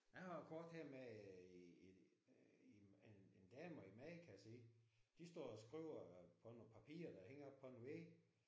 Jeg har et kort her med en en en dame og en mand kan jeg se. De står og skriver på nogle papirer der hænger på en væg